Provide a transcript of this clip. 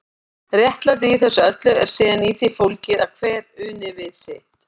Réttlætið í þessu öllu er síðan í því fólgið að hver uni við sitt.